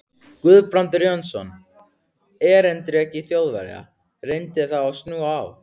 Guðbrandur Jónsson, erindreki Þjóðverja, reyndi þá að snúa á